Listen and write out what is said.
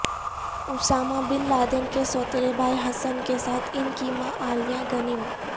Usama bin Laden کے سوتیلے بھائی حسن کے ساتھ ان کی ماں عالیہ غنیم